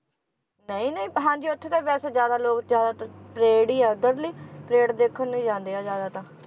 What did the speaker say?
ਨਹੀਂ ਨਹੀਂ ਹਾਂਜੀ ਉੱਥੇ ਤਾਂ ਵੈਸੇ ਜ਼ਿਆਦਾ ਲੋਕ ਜ਼ਿਆਦਾਤਰ ਪਰੇਡ ਹੀ ਆ ਉਧਰਲੀ ਪਰੇਡ ਦੇਖਣ ਨੂੰ ਹੀ ਜਾਂਦੇ ਆ ਜ਼ਿਆਦਾ ਤਾਂ